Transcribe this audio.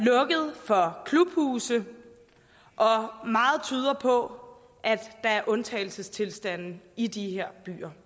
der bliver klubhuse og meget tyder på at der er undtagelsestilstande i de her byer